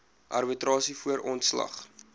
arbitrasie voor ontslag